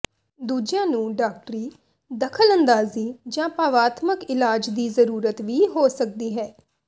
ਦੂਜੀਆਂ ਨੂੰ ਡਾਕਟਰੀ ਦਖਲਅੰਦਾਜ਼ੀ ਜਾਂ ਭਾਵਾਤਮਕ ਇਲਾਜ ਦੀ ਜ਼ਰੂਰਤ ਵੀ ਹੋ ਸਕਦੀ ਹੈ